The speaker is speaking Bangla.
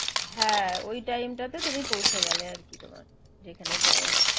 হ্যাঁ ওই time টাতে তুমি পৌঁছে গেলে আর কি তোমার যেখানে যাওয়ার